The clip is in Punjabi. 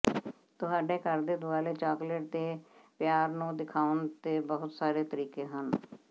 ਤੁਹਾਡੇ ਘਰ ਦੇ ਦੁਆਲੇ ਚਾਕਲੇਟ ਦੇ ਪਿਆਰ ਨੂੰ ਦਿਖਾਉਣ ਦੇ ਬਹੁਤ ਸਾਰੇ ਤਰੀਕੇ ਹਨ